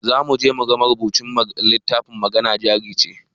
Zamuje muga marubucin littafin magana jarice